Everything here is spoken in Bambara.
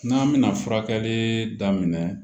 N'an bɛna furakɛli daminɛ